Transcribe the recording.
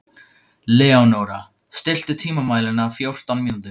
Leónóra, stilltu tímamælinn á fjórtán mínútur.